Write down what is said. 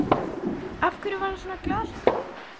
Af hverju var hann svona glaðhlakkalegur?